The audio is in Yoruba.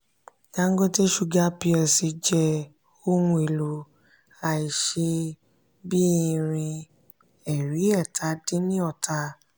dangote sugar plc jẹ ohun elo aise bí irin ẹ̀rin èta dín ní ọta.